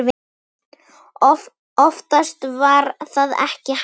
Oftast var það ekki hægt.